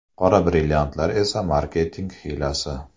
Qora brilliantlar esa marketing hiylasi.